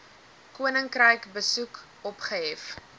koninkryk besoek opgehef